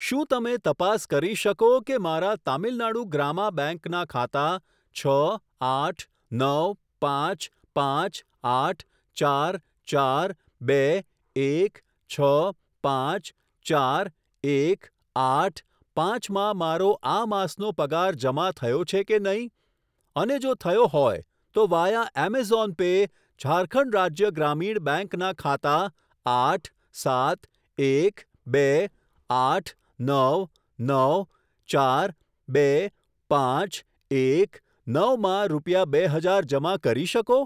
શું તમે તપાસ કરી શકો કે મારા તમિલ નાડું ગ્રામા બેંક ના ખાતા છ આઠ નવ પાંચ પાંચ આઠ ચાર ચાર બે એક છ પાંચ ચાર એક આઠ પાંચ માં મારો આ માસનો પગાર જમા થયો છે કે નહીં, અને જો થયો હોય, તો via Amazon Pay Jharkhand Rajya Gramin bank બેન્કના ખાતા આઠ સાત એક બે આઠ નવ નવ ચાર બે પાંચ એક નવ માં રૂપિયા બે હજાર જમા કરી શકો?